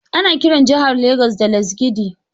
Ana kiran jahar Legas da Lasgidi.